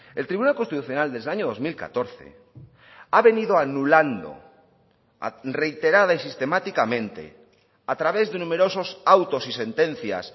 el tribunal constitucional desde el año dos mil catorce ha venido anulando reiterada y sistemáticamente a través de numerosos autos y sentencias